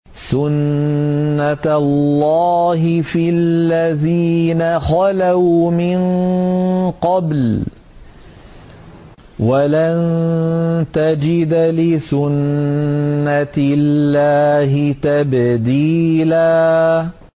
سُنَّةَ اللَّهِ فِي الَّذِينَ خَلَوْا مِن قَبْلُ ۖ وَلَن تَجِدَ لِسُنَّةِ اللَّهِ تَبْدِيلًا